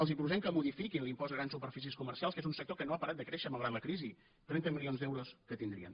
els proposem que modifiquin l’impost a grans superfícies comercials que és un sector que no ha parat de créixer malgrat la crisi trenta milions d’euros que tindrien